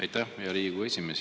Aitäh, hea Riigikogu esimees!